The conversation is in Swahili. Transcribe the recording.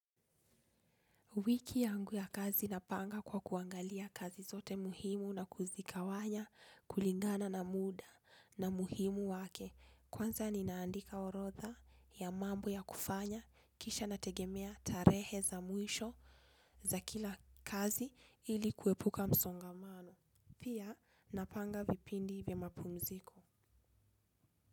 Wiki yangu ya kazi napanga kwa kuangalia kazi zote muhimu na kuzikawanya kulingana na muda na muhimu wake. Kwanza ninaandika orodha ya mambo ya kufanya kisha nategemea tarehe za mwisho za kila kazi ili kuepuka msongamano. Pia napanga vipindi vya mapumziko.